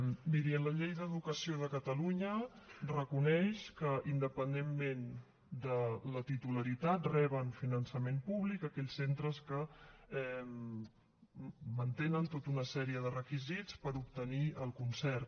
miri la llei d’educació de catalunya reconeix que independentment de la titularitat reben finançament públic aquells centres que mantenen tota una sèrie de requisits per obtenir el concert